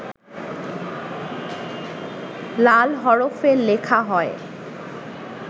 লাল হরফে লেখা হয়